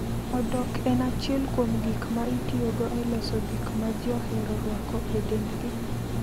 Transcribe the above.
Odok en achiel kuom gik ma itiyogo e loso gik ma ji ohero rwako e dendgi.